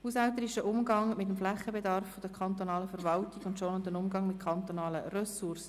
«Haushälterischer Umgang mit dem Flächenbedarf der kantonalen Verwaltung und schonender Umgang mit kantonalen Ressourcen».